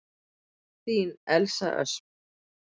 Þín Elsa Ösp.